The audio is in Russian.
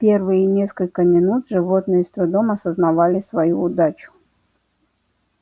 первые несколько минут животные с трудом осознавали свою удачу